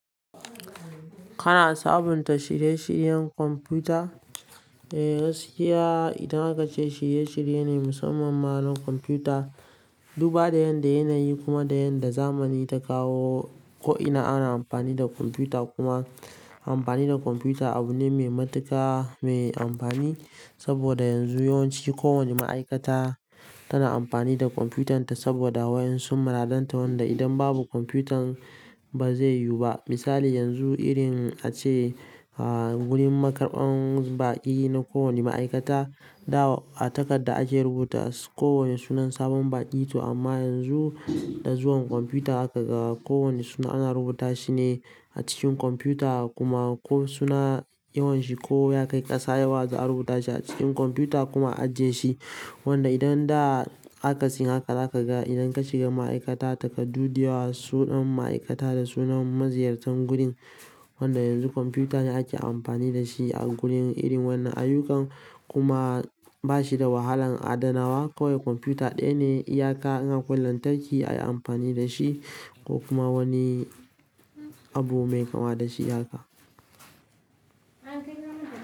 Kana sabunta shirye-shiryen kwamfuta? Eh gaskiya idan haka ce shirye-shirye ne musamman ma na kwanfuta. Duba da yadda yanayi kuma da yadda zamani ta kawo ko'ina ana amfani da kwamfuta kuma amfani da kwamfuta abu ne mai matuƙa mai amfani. Saboda yanzu yawanci kowane ma'aikata tana amfani da kwamfutanta saboda wayansu maradanta wanda idan babu kwamfutan ba zai yiwu ba. Misali yanzu irin ace, ah gurin karɓan baƙi na ko wani ma'aikata da a takarda ake rubuta ko wane sunan sabon baƙi to amma ranzu da zuwan kwamfuta za haga ga kowane suna ana rubuta shi ne a cikin kwamfuta kuma ko suna yawan shi ko ya kai ƙasa yawa za a rubuta shi a cikin kwamfuta kuma a ajiye shi. Wanda idan da akasin haka za ka ga idan ka shiga ma'aikata takaddu da yawa sunan ma'aikata da sunan maziyartan gurin. Wanda yanzu kwamfuta ne ake amfani da shi a gurin irin wannan ayyukan kuma ba shi da wahalan adanawa kawai kwamfuta ɗaya ne iyaka in akwai lantarki ayi amfani da shi ko kuma wani abu mai kama da shi haka.